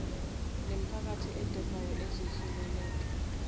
lemiphakathi edobayo ezohileleka